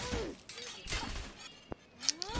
wezemfundo